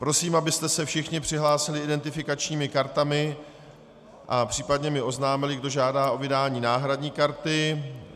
Prosím, abyste se všichni přihlásili identifikačními kartami a případně mi oznámili, kdo žádá o vydání náhradní karty.